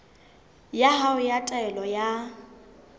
ya hao ya taelo ya